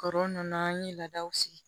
Kɔrɔ nunnu an ye laadaw sigi